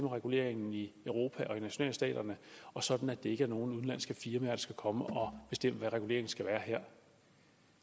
reguleringen i europa og i nationalstaterne og sådan at det ikke er nogle udenlandske firmaer der skal komme og bestemme hvad reguleringen skal være her